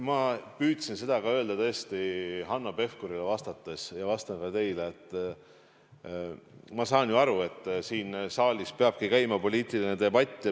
Ma püüdsin seda öelda Hanno Pevkurile vastates ja vastan ka teile, et ma saan ju aru, et siin saalis peabki käima poliitiline debatt.